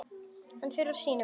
Hann fer úr sínum.